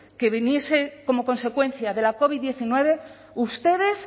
que viniese como consecuencia de la covid diecinueve ustedes